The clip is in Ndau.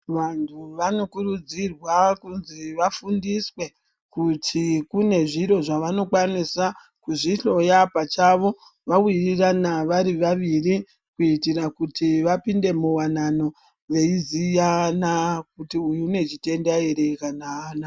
Vantu vanokurudzirwa kunzi vafundiswe kuti kune zviro zvavanokwanisa kuzvihloya pachavo, vawirirana vari vaviri, kuyitira kuti vapinde muwanano veyiziyana kuti uyu unechitenda ere kana haana.